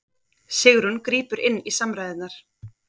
Sigrún grípur inn í samræðurnar